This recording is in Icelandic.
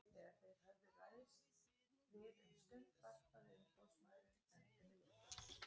Þegar þeir höfðu ræðst við um stund varpaði umboðsmaðurinn öndinni léttar.